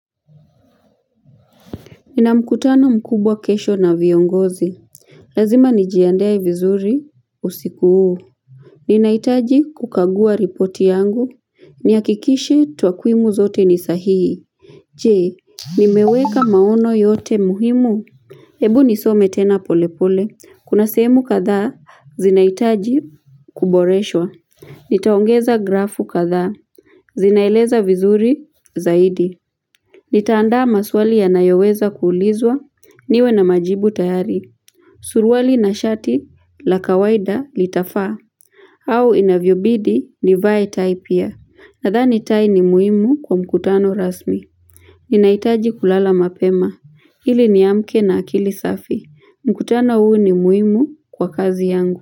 Nina mkutano mkubwa kesho na viongozi. Lazima nijiandae vizuri usiku huu. Ninahitaji kukagua ripoti yangu. Nihakikishe twakwimu zote ni sahihi. Je, nimeweka maono yote muhimu? Ebu nisome tena polepole. Kuna sehemu kadhaa zinahitaji kuboreshwa. Nitaongeza grafu katha. Zinaeleza vizuri zaidi. Nitaandaa maswali yanayoweza kuulizwa. Niwe na majibu tayari. Suruali na shati la kawaida litafaa. Au inavyobidi nivae tai pia. Nadhani tai ni muhimu kwa mkutano rasmi. Ninahitaji kulala mapema. Ili niamke na akili safi. Mkutano huu ni muhimu kwa kazi yangu.